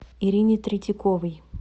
ирине третьяковой